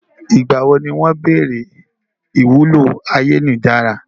Nígbàwo ni wọ́n béèrè ìwúlò ayélujára?